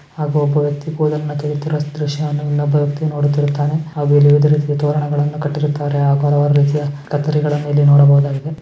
ಹಾಗೂ ಒಬ್ಬ ವ್ಯಕ್ತಿ ಕೂದಲನ್ನು ತೆಗೆಯುತ್ತಿರುವ ದ್ರಶ್ಯವನ್ನು ಇನ್ನೊಬ್ಬ ವ್ಯಕ್ತಿ ನೋಡುತ್ತಿರುತ್ತಾನೆ ಹಾಗೂ ಇಲ್ಲಿ ವಿವಿಧ ರೀತಿಯ ತೋರಣಗಳನ್ನು ಕಟ್ಟಿರುತ್ತಾರೆ ಹಾಗೂ ಹಲವಾರು ರೀತಿಯ ಕತ್ತರಿಗಳನ್ನು ಇಲ್ಲಿ ನೋಡಬಹುದಾಗಿದೆ.